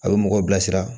A bɛ mɔgɔw bilasira